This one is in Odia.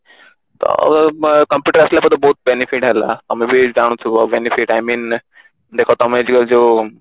ତ ଅ computer ଆସିଲା ପରେ ତ ବହୁତ benefit ହେଲା ତମେ ବି ଜାଣୁଥିବ benefit I mean ଦେଖା ତମେ ଯେତିକ ଯୋଉ